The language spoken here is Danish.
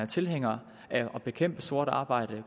tilhænger af at bekæmpe sort arbejde